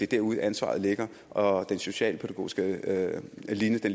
derude ansvaret ligger og den socialpædagogiske linje